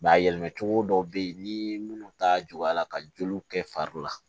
a yɛlɛmacogo dɔw be yen ni munnu ta juguyala ka joliw kɛ fari la